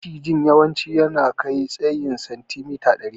Macijin yawanci yakan kai tsayin sentimita dari.